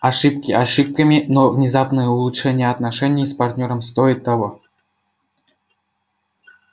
ошибки ошибками но внезапное улучшение отношений с партнёром стоит того